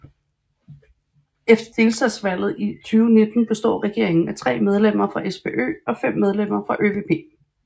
Efter delstatsvalget i 2019 består regeringen af 3 medlemmer fra SPÖ og 5 medlemmer fra ÖVP